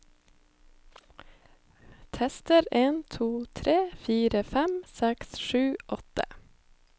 Tester en to tre fire fem seks sju åtte